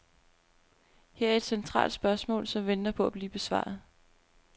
Her er et centralt spørgsmål, som venter på at blive besvaret.